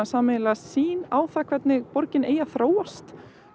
sýn á það hvernig borgin eigi að þróast